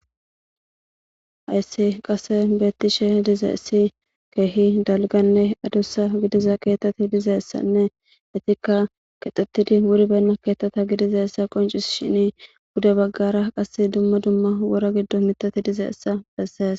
Hayssi qasekka betishshe dizay keehi dalgganne adussa gidiza kexetti dizayssanne ittika kexettidi wuribbena keththatta gidizayssa qoncisishinni pude baggara qase dumma dumma wora giddon miththatti dizayssa besses.